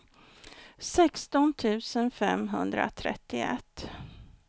sexton tusen femhundratrettioett